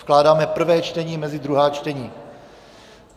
Vkládáme prvé čtení mezi druhá čtení.